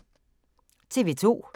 TV 2